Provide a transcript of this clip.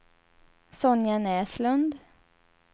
Sonja Näslund